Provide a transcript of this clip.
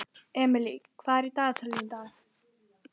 Emely, hvað er á dagatalinu í dag?